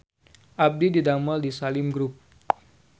Abdi didamel di Salim Group